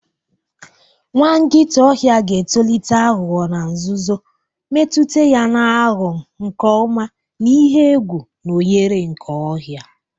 Nwa nkịta ọhịa ga-etolite aghụghọ na nzuzo, mmetụta ya na-aghọ nke ọma na ihe egwu na ohere nke ọhịa.